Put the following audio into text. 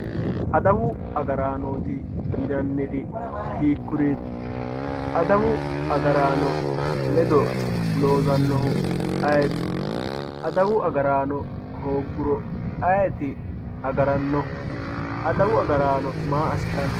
Adawu agaranoti yinanniri hiikuriti, adawu agarano ledo loosanohu ayeeti, adawu agarano hooguro ayeeti agaranohu adawu agarano maa asitano